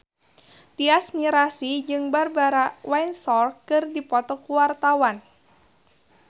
Tyas Mirasih jeung Barbara Windsor keur dipoto ku wartawan